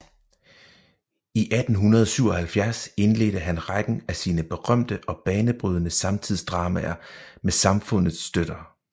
I 1877 indledte han rækken af sine berømte og banebrydende samtidsdramaer med Samfundets støtter